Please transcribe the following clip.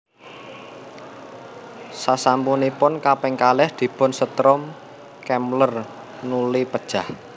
Sasampunipun kaping kalih dipun setrum Kemmler nuli pejah